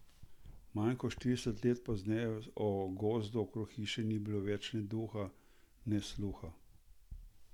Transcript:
Manj kot štirideset let pozneje o gozdu okrog hiše ni bilo več ne duha ne sluha.